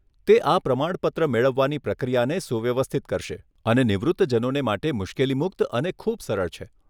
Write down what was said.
તે આ પ્રમાણપત્ર મેળવવાની પ્રક્રિયાને સુવ્યવસ્થિત કરશે અને નિવૃત્તજનોને માટે મુશ્કેલી મુક્ત અને ખૂબ સરળ છે.